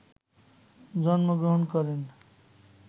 জন্মগ্রহণ করেন